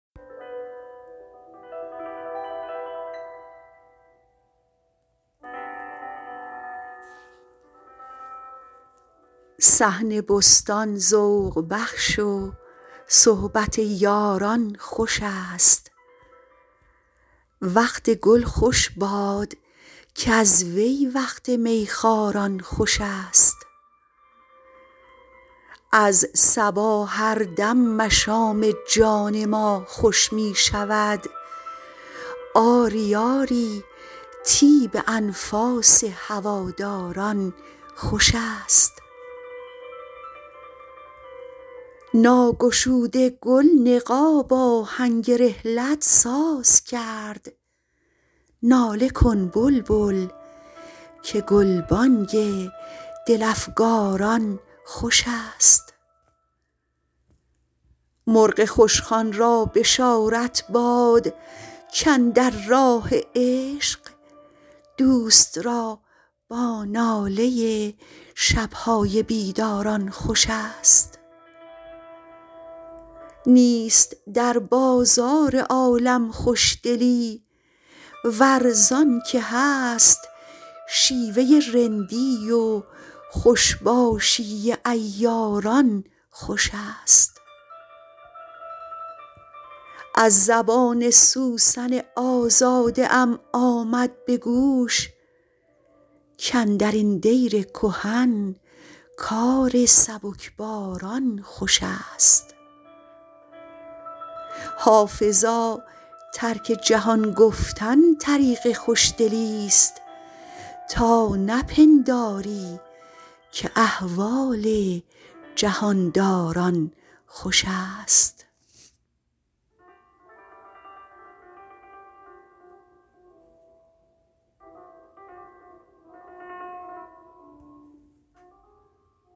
صحن بستان ذوق بخش و صحبت یاران خوش است وقت گل خوش باد کز وی وقت می خواران خوش است از صبا هر دم مشام جان ما خوش می شود آری آری طیب انفاس هواداران خوش است ناگشوده گل نقاب آهنگ رحلت ساز کرد ناله کن بلبل که گلبانگ دل افکاران خوش است مرغ خوشخوان را بشارت باد کاندر راه عشق دوست را با ناله شب های بیداران خوش است نیست در بازار عالم خوشدلی ور زان که هست شیوه رندی و خوش باشی عیاران خوش است از زبان سوسن آزاده ام آمد به گوش کاندر این دیر کهن کار سبکباران خوش است حافظا ترک جهان گفتن طریق خوشدلیست تا نپنداری که احوال جهان داران خوش است